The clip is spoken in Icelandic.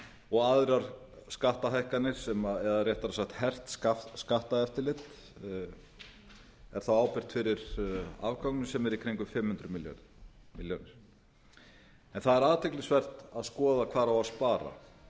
og aðrar skattahækkanir eða réttra sagt hert skatteftirlit er þá ábyrgt fyrir afgangnum sem er í kringum fimm hundruð milljónir það er athyglisvert að skoða hvar á að spara